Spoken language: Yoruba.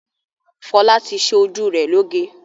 Fọlá ti ṣe ojú rẹ̀ lóge?